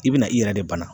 I bɛna i yɛrɛ de bana